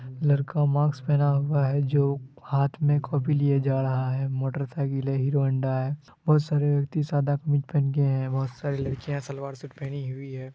लड़का मास्क पहेना हुआ हैं जो हाथ में कॉपी लिए जा रहा हैं मोटर साइकिल हैं हीरो होंडा है बहुत सारेव्यक्ति सादा कमीज पहनकर है बहुत सारी लड़कियां सलवार सूट पहनी हुई है।